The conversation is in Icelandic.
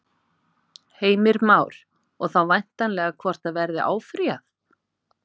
Heimir Már: Og þá væntanlega hvort að verði áfrýjað?